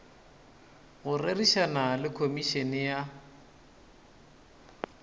go rerišana le komišene ya